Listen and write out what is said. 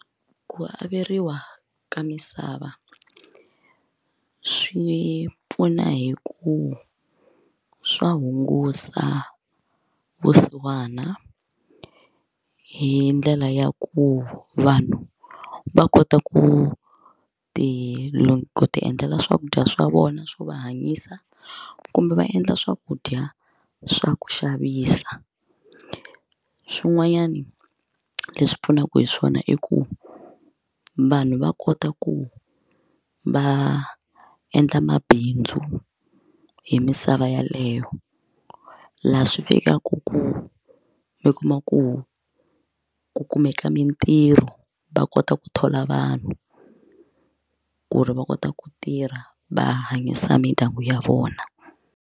Ku averiwa ka misava swi pfuna hi ku swa hungusa vusiwana hi ndlela ya ku vanhu va kota ku ti ku ti endlela swakudya swa vona swo va hanyisa kumbe va endla swakudya swa ku xavisa swin'wanyana leswi pfunaka hi swona i ku vanhu va kota ku va endla mabindzu hi misava yeleyo laha swi fikaka ku ni kuma ku ku kumeka mitirho va kota ku thola vanhu ku ri va kota ku tirha va hanyisa mindyangu ya vona.